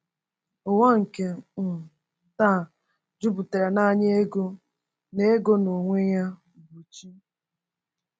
Ụwa nke um taa jupụtara n’anya ego na ego na onwe-ya-bụchi.